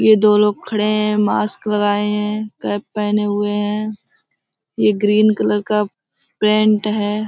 ये दो लोग खड़े हैं। मास्क लगाएं हैं। कैप पहने हुए है। ये ग्रीन कलर का पैंट है।